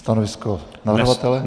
Stanovisko navrhovatele?